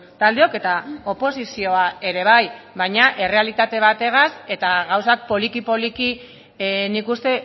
taldeok eta oposizioa ere bai baina errealitate bategaz eta gauzak poliki poliki nik uste